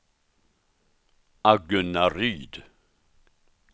Agunnaryd